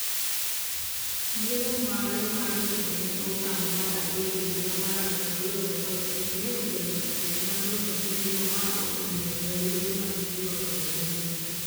yiero mare mar kedo ne okang' mar adek e higa mar 2015 ne okelo chandruok. maduong' e pinyno ma omiyo elufe mag ji ringo pinyno